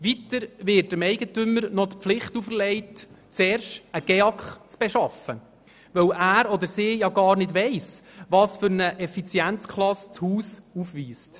Weiter wird dem Eigentümer die Pflicht auferlegt, zuerst einen GEAK zu beschaffen, weil er oder sie gar nicht weiss, welche Effizienzklasse das Haus aufweist.